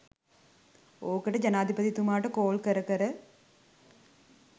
ඕකට ජනාධිපතිතුමාට කෝල් කර කර